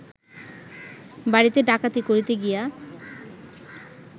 বাড়িতে ডাকাতি করিতে গিয়া